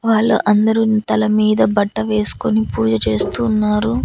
వాళ్ళు అందరూ తల మీద బట్ట వేసుకొని పూజ చేస్తూ ఉన్నారు.